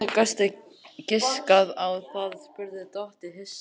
Hvernig gastu giskað á það? spurði Tóti hissa.